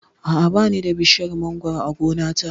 A'a, ba ni da bishiyar mangoro a gona ta